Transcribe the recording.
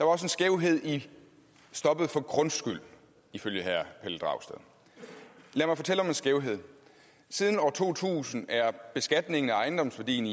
også en skævhed i stoppet for grundskyld ifølge herre pelle dragsted lad mig fortælle om en skævhed siden år to tusind er beskatningen af ejendomsværdien